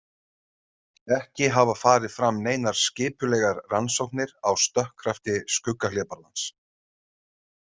Ekki hafa farið fram neinar skipulegar rannsóknir á stökkkrafti skuggahlébarðans.